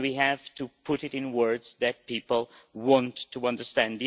we have to put it in words that people want to understand.